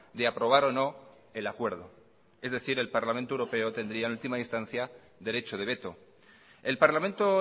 de aprobar o no el acuerdo es decir el parlamento europeo tendría en última instancia derecho de veto el parlamento